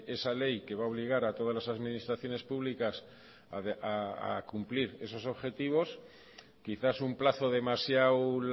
esa ley que va a obligar a todas las administraciones públicas a cumplir esos objetivos quizás un plazo demasiado